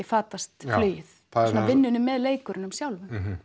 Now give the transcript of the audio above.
fatast flugið svona vinnunni með leikurunum sjálfum